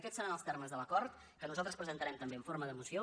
aquests seran els termes de l’acord que nosaltres presentarem també en forma de moció